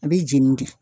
A bɛ jeni de